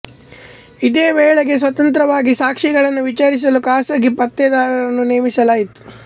ಇದೇ ವೇಳೆಗೆ ಸ್ವತಂತ್ರವಾಗಿ ಸಾಕ್ಷಿಗಳನ್ನು ವಿಚಾರಿಸಲು ಖಾಸಗಿ ಪತ್ತೆದಾರರನ್ನು ನೇಮಿಸಲಾಯಿತು